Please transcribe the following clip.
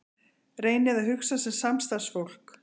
Reynið að hugsa sem samstarfsfólk.